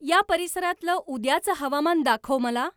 या परिसरातलं उद्याचं हवामान दाखव मला.